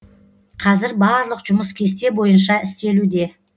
қазір барлық жұмыс кесте бойынша істелуде